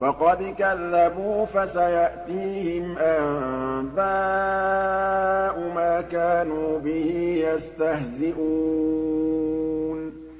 فَقَدْ كَذَّبُوا فَسَيَأْتِيهِمْ أَنبَاءُ مَا كَانُوا بِهِ يَسْتَهْزِئُونَ